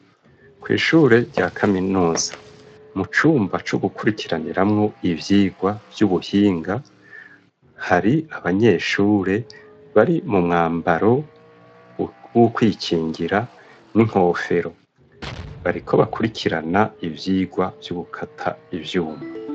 Kw'ishure rya kaminuza mu cumba co gukurikiraniramwo ibyigwa vy'ubuhinga hari abanyeshure bari mu mwambaro w'ukwikingira n'inkofero bariko bakurikirana ivyigwa vy'ugukata ivyuma.